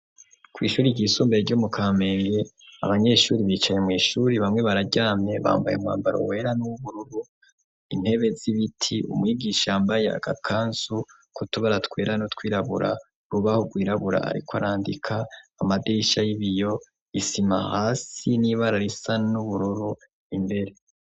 Kw'ishure ryisumbuye ryo mu Kamenge, abanyeshure bicaye mw'ishure bamwe bararyamye bambaye umwambaro wera n'uwubururu, intebe z'ibiti, umwigisha yambaye agakanzu k'utubara twera n'utwirabura, urubaho rwirabura ariko arandika, amadirisha y'ibiyo, isima hasi n'ibara risa n'ubururu imbere.